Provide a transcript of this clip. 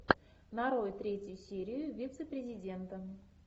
нарой третью серию вице президента